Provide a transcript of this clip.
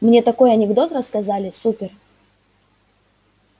мне такой анекдот рассказали супер